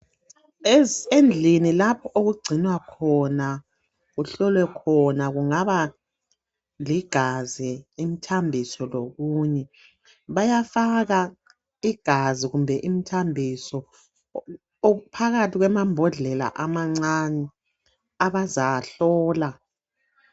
endlini lapho okucinwa khona kuhlolwa khona kungaba ligazi umthambiso lokunye bayafaka igazi kumbe imthambiso phakathi kwamabhodlela amancane abazawahlola